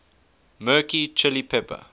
mirchi chilli pepper